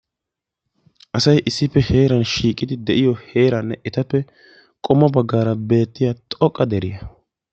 asay issippe shiiqidi de'iyo heeraanne etappe qommo baggaara beettiya xoqqa deriya.